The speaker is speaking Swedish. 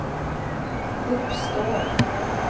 uppstår